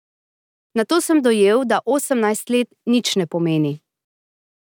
Nato sem dojel, da osemnajst let nič ne pomeni.